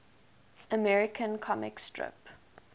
american comic strip